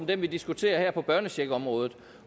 den vi diskuterer her på børnecheckområdet